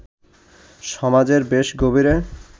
সমাজের বেশ গভীরে